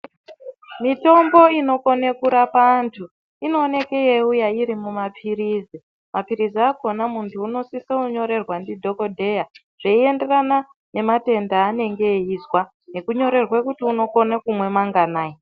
Mitombo inokone kurapa anthu inooneke yeiuya iri mumaphirizi. Maphirizi akhona muntu unosisa kunyorerwa ndidhokodheya zveienderana nematenda aanenge eizwa nekunyorerwa kuti unpkona kumwa manganayi.